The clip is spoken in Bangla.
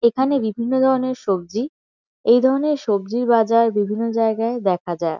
এখানে বিভিন্ন ধরনের সবজি। এই ধরনের সবজি বাজার বিভিন্ন জায়গায় দেখা যায়।